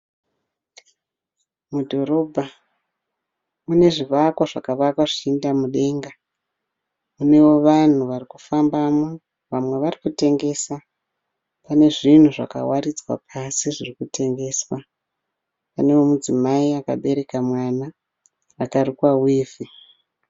Mudhorobha mune zvivakwa zvakavakwa zvichienda mudenga. Munewo vanhu varikufambamo, vamwe vari kutengesa. Kune zvinhu zvawaridzwa pasi zvirikutengeswa. Kune mudzimai akabereka mwana, akarukwa wivhi.